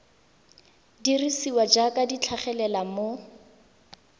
dirisiwa jaaka di tlhagelela mo